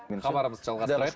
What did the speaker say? хабарымызды жалғастырайық